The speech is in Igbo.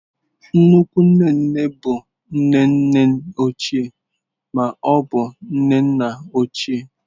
Nnukwu nne nne bụ nne nne ochie ma ọ bụ nne nna ochie.